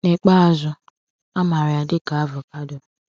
N’ikpeazụ, a mara ya dị ka avocado.